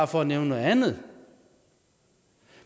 for at nævne noget andet